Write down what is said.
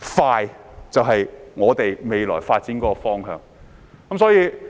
快捷就是我們未來發展的方向。